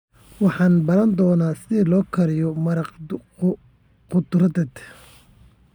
Waxaan baran doonaa sida loo kariyo maraq khudradeed.